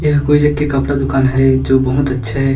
एहा कोई जग के कपड़ा दुकान हरे जो बहुत अच्छा हे।